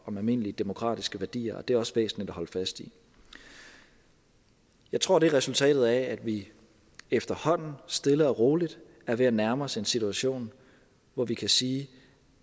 om almindelige demokratiske værdier det er også væsentligt at holde fast i jeg tror det er resultatet af at vi efterhånden stille og roligt er ved at nærme os en situation hvor vi kan sige